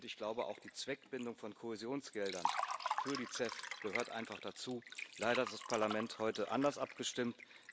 Ich glaube auch, die Zweckbindung von Kohäsionsgeldern für die CEF gehört einfach dazu. Leider hat das Parlament heute anders abgestimmt.